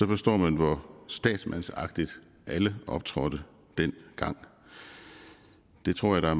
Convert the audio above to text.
forstår man hvor statsmandsagtigt alle optrådte dengang det tror jeg der